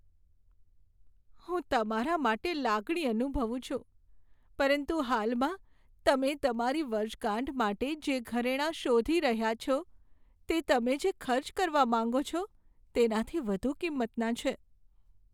હું તમારા માટે લાગણી અનુભવું છું, પરંતુ હાલમાં તમે તમારી વર્ષગાંઠ માટે જે ઘરેણાં શોધી રહ્યા છો, તે તમે જે ખર્ચ કરવા માંગો છો, તેનાથી વધુ કિંમતનાં છે.